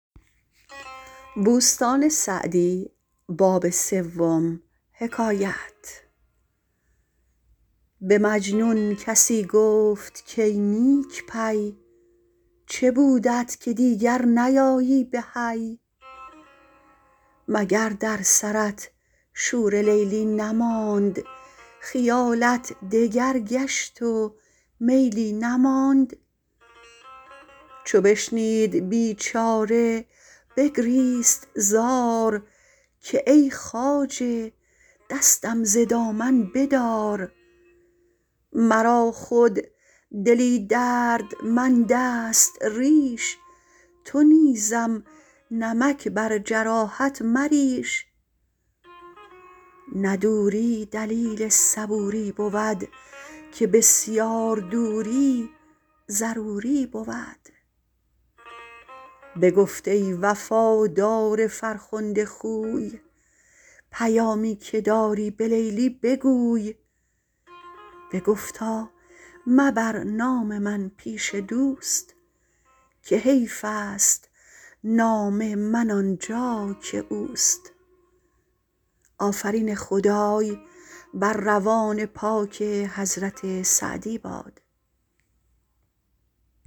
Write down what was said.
به مجنون کسی گفت کای نیک پی چه بودت که دیگر نیایی به حی مگر در سرت شور لیلی نماند خیالت دگر گشت و میلی نماند چو بشنید بیچاره بگریست زار که ای خواجه دستم ز دامن بدار مرا خود دلی دردمند است ریش تو نیزم نمک بر جراحت مریش نه دوری دلیل صبوری بود که بسیار دوری ضروری بود بگفت ای وفادار فرخنده خوی پیامی که داری به لیلی بگوی بگفتا مبر نام من پیش دوست که حیف است نام من آنجا که اوست